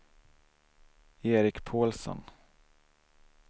Eric Paulsson